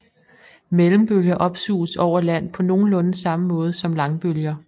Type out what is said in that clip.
Mellembølger opsuges over land på nogenlunde samme måde som langbølger